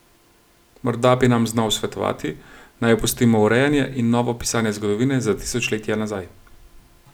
Morda bi nam znal svetovati, naj opustimo urejanje in novo pisanje zgodovine za tisočletja nazaj.